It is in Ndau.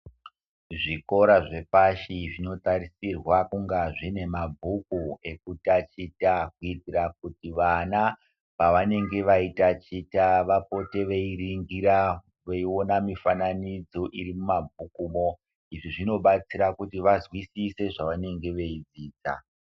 Zvikora zvepashi zvinotarisirwa kunga zvine mabhuku ekutaticha kuitira kuti vana pavanenge vaitachita vapote veiringira viona mifananidzo iri mumabhukumo. Izvo zvinobatsira kuti vazwisise zvavanenge veidzidza.